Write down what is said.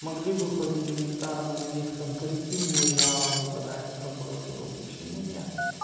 могли бы хоть элементарно на них там коллективные жалобы подать в прокуратуру почему нет